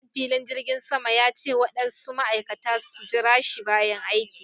Manajan filin jirgin sama ya ce waɗansu Ma'aikata su jirashi bayan aiki.